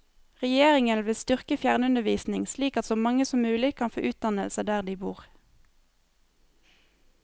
Regjeringen vil styrke fjernundervisning slik at så mange som mulig kan få utdannelse der de bor.